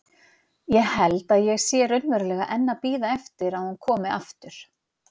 Ég held að ég sé raunverulega enn að bíða eftir að hún komi aftur.